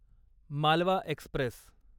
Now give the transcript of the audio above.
Malwa Express